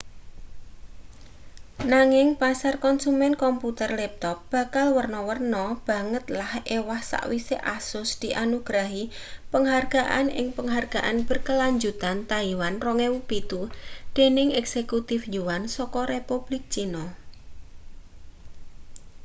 nanging pasar konsumen komputer laptop bakal werna-werna banget lan ewah sawise asus dianugrahi penghargaan ing penghargaan berkelanjutan taiwan 2007 dening eksekutif yuan saka republik cina